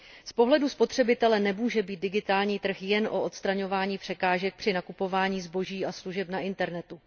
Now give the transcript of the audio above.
Z pohledu spotřebitele nemůže být digitální trh jen o odstraňování překážek při nakupování zboží a služeb na internetu.